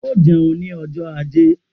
O jẹun ni ọjọ ajé/